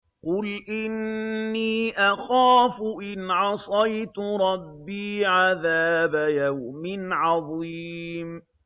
قُلْ إِنِّي أَخَافُ إِنْ عَصَيْتُ رَبِّي عَذَابَ يَوْمٍ عَظِيمٍ